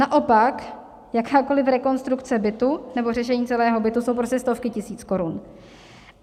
Naopak jakákoliv rekonstrukce bytu nebo řešení celého bytu jsou prostě stovky tisíc korun.